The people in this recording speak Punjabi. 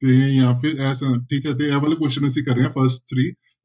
ਤੇ ਜਾਂ ਫਿਰ ਇਹ ਠੀਕ ਅਤੇ ਇਹ ਵਾਲੇ question ਅਸੀਂ ਕਰ ਰਹੇ ਹਾਂ